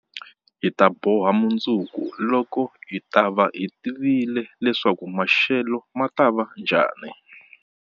Hi ta boha mundzuku, loko hi ta va hi tivile leswaku maxelo ma ta va njhani.